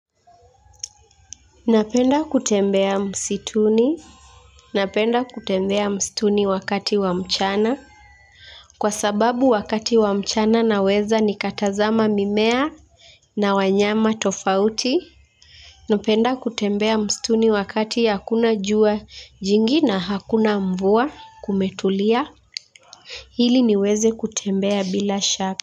Napenda kutembea msituni. Napenda kutembea msituni wakati wa mchana. Kwa sababu wakati wa mchana naweza nikatazama mimea na wanyama tofauti. Napenda kutembea msituni wakati hakuna jua jingi na hakuna mvua kumetulia. Hili niweze kutembea bila shaka.